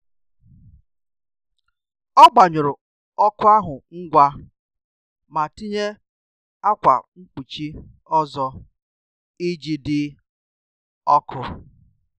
Ọbughi nleta ana atu anya ya, mana a um na um anabata enyemaka ego ụmụakwụkwọ oge nile. um